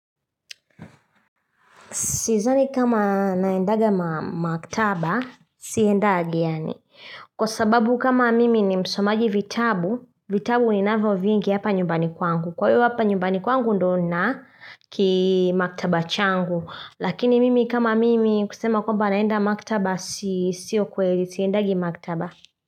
Sidhani kama naendaga maktaba siendagi yaani kwa sababu kama mimi ni msomaji vitabu vitabu ni navyo vingi hapa nyumbani kwangu kwa hiyo hapa nyumbani kwangu ndo na kimaktaba changu lakini mimi kama mimi kusema kwamba naenda maktaba sio kweli siendagi maktaba.